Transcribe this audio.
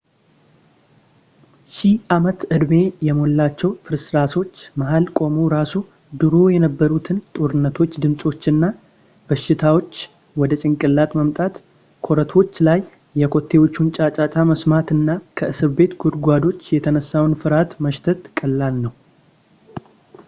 ሺህ ዓመት-ዕድሜ የሞላቸው ፍርስራሾች መሃል ቆመው ራሱ ድሮ የነበሩትን ጦርነቶች ድምፆች እና ሽታዎች ወደ ጭንቅላት ማምጣት ኮረቶቹ ላይ የኮቴዎቹን ጫጫታ መስማት እና ከእስር ቤት ጉድጓዶች የተነሳውን ፍርሃት ማሽተት ቀላል ነው